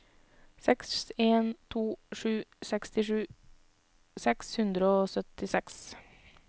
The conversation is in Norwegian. seks en to sju sekstisju seks hundre og syttiseks